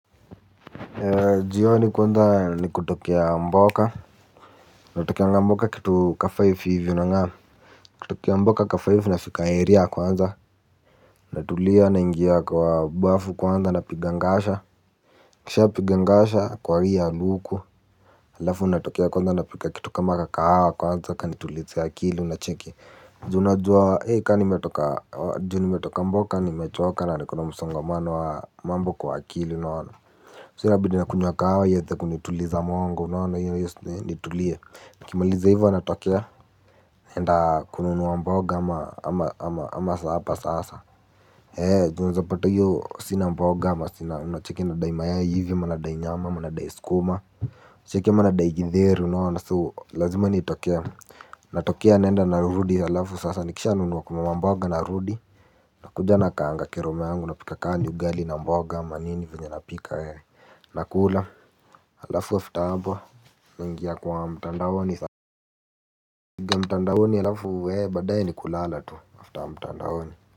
Jioni kwanza ni kutokea mboka. Natokea mboka kitu ka-five hivi unang'am. Kutokea mboka kafive nafika area kwanza. Natulia. Naingia kwa bafu kwanza, napiga ngasha. Nikishapiga ngasha kuvalia luku. Alafu natokea kwanza napika kitu kama kahawa kwanza kanitulize akili unacheki. Ju unajua ka nimetoka. Nimetoka mboka nimechoka. Na niko na msongamano wa mambo kwa akili unaona. So inabidi nakunywa kahawa ieze kunituliza mongo unaona hiyo nitulie. Nikimaliza hivyo natokea. Naenda kununua mboga ama sapa sasa. Eeeh juu unaezapata hiyo sina mboga ama sina unacheki nadai mayai hivi ama nadai nyama ama nadai sukuma. Unacheki ama nadai githeri unaona so lazima nitokee. Natokea naenda narudi alafu sasa nikishanunua kununua mboga narudi. Nakuja nakaanga keroma yangu napika kaa ni ugali na mboga ama nini yenye napika. Nakula alafu after hapo nainga kwa mtandaoni. Mtandaoni alafu baadae ni kulala tu After mtandaoni.